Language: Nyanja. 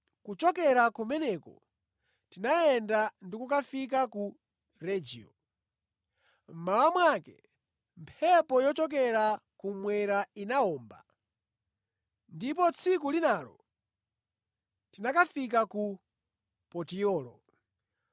Kuchokera kumeneko tinayenda ndi kukafika ku Regio. Mmawa mwake mphepo yochokera kummwera inawomba, ndipo tsiku linalo tinakafika ku Potiyolo.